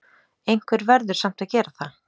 Einhver verður samt að gera það!